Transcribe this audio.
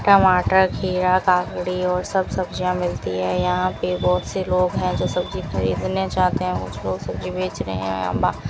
टमाटर खीरा ककड़ी और सब सब्जियां मिलती है यहां पे बहोत से लोग है जो सब्जी खरीदने जाते है उसको सब्जी बेच रहे है और--